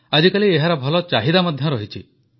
ଆଜିକାଲି ଏହାର ଭଲ ଚାହିଦା ମଧ୍ୟ ରହିଛି